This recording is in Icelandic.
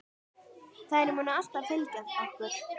Þær munu alltaf fylgja okkur.